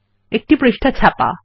একটি পৃষ্ঠা ছাপা